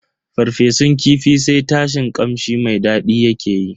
farfesun kifin sai tashin kamshi mai daɗi yake yi.